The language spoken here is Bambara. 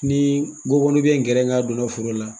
Ni bɛ kɛrɛnga foro la.